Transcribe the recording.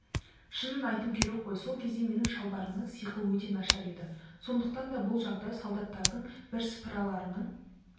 шынын айту керек қой сол кезде менің шалбарымның сиқы өте нашар еді сондықтан да бұл жағдай солдаттардың бірсыпыраларының